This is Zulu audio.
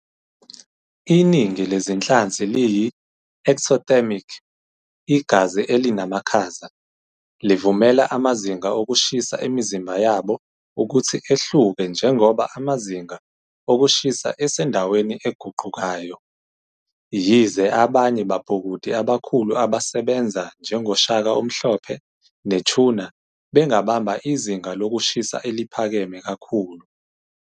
Iningi lezinhlanzi liyi- ectothermic, "igazi elinamakhaza", livumela amazinga okushisa emizimba yabo ukuthi ehluke njengoba amazinga okushisa asendaweni eguqukayo, yize abanye babhukudi abakhulu abasebenza njengoshaka omhlophe ne- tuna bengabamba izinga lokushisa eliphakeme kakhulu.